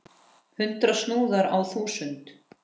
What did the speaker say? Hundrað snúðar á þúsund!